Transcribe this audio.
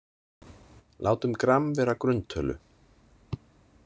Látum gramm vera grunntölu.